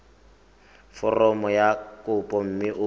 foromo ya kopo mme o